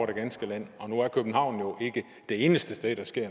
det ganske land og nu er københavn jo ikke det eneste sted der sker